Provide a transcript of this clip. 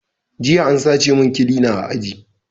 Jiya an sace mun kilina a aji